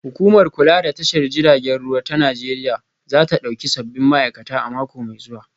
Hukumar kula da tashar jiragen ruwa ta Najeriya za ta dauki sabbin ma'aikata a mako mai zuwa